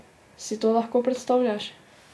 Si to lahko predstavljaš?